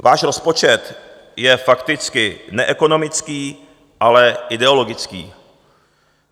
Váš rozpočet je fakticky neekonomický, ale ideologický.